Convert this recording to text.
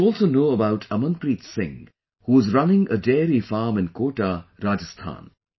You must also know about Amanpreet Singh, who is running a dairy farm in Kota, Rajasthan